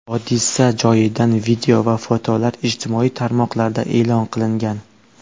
Hodisa joyidan video va fotolar ijtimoiy tarmoqlarda e’lon qilingan.